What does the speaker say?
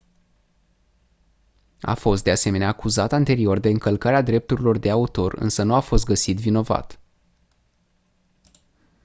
a fost de asemenea acuzat anterior de încălcarea drepturilor de autor însă nu a fost găsit vinovat